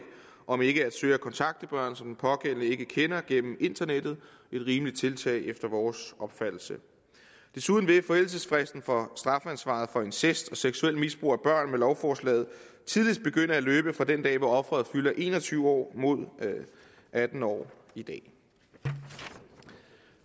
om ikke at søge at kontakte børn som den pågældende ikke kender gennem internettet et rimeligt tiltag efter vores opfattelse desuden vil forældelsesfristen for strafansvaret for incest og seksuelt misbrug af børn med lovforslaget tidligst begynde at løbe fra den dag hvor offeret fylder en og tyve år mod atten år i dag